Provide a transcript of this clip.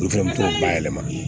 N fɛnɛ t'o ba yɛlɛma